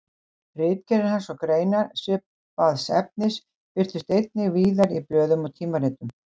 Ritgerðir hans og greinar svipaðs efnis birtust einnig víðar í blöðum og tímaritum.